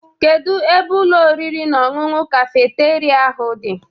Kedu ebe Ụlọ oriri na ọṅụṅụ kafeteria ahụ dị?